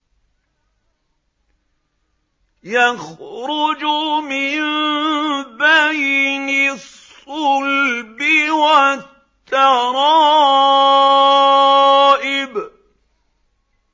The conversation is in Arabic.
يَخْرُجُ مِن بَيْنِ الصُّلْبِ وَالتَّرَائِبِ